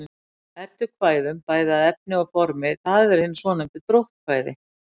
Eddukvæðum bæði að efni og formi, það eru hin svonefndu dróttkvæði.